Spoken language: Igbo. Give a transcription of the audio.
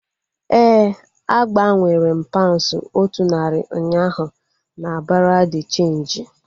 Éè, a gbanwere m paunds otu narị ụnyaahụ na bureau de cheenji